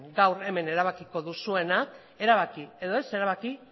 gaur hemen erabakiko duzuena erabaki edo ez erabaki